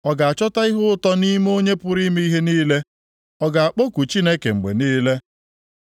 Ọ ga-achọta ihe ụtọ nʼime Onye pụrụ ime ihe niile? Ọ ga-akpọku Chineke mgbe niile?